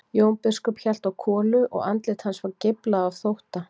Jón biskup hélt á kolu og andlit hans var geiflað af þótta.